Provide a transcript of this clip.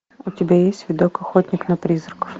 у тебя есть видок охотник на призраков